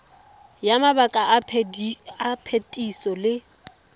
ya mabaka a phetiso le